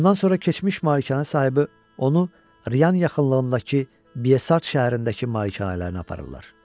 Bundan sonra keçmiş Malikanənin sahibi onu Rian yaxınlığındakı Biasar şəhərindəki malikanələrinə aparırlar.